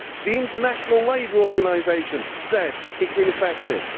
The International Labour Organisation has said it is ineffective.